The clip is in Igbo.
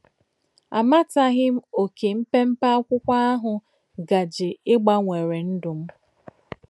Àmàtàghí m ókè m̀pèm̀pè ákwụ́kwọ̀ àhụ̀ gàjè ígbánwèrù ndú m.